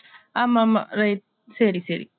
ஆம்மாம் right சரி சரி